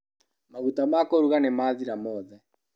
Maguta ma kũruga nĩmathira mothe.